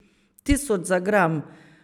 Tisoč za gram.